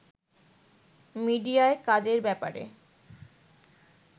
মিডিয়ায় কাজের ব্যাপারে